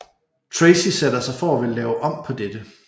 Tracy sætter sig for at ville lave om på dette